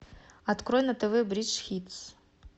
открой на тв бридж хитс